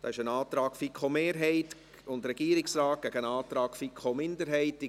Es gibt hierzu einen Antrag der FiKo-Mehrheit und des Regierungsrates gegen einen Antrag der FiKo-Minderheit.